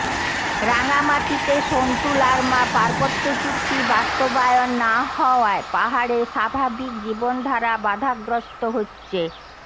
রাঙামাটিতে সন্তু লারমা পার্বত্য চুক্তি বাস্তবায়ন না হওয়ায় পাহাড়ে স্বাভাবিক জীবনধারা বাধাগ্রস্ত হচ্ছে